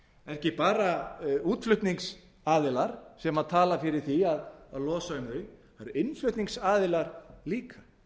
ekki bara útflutningsaðilar sem tala fyrir því að losa um þau það eru innflutningsaðilar líka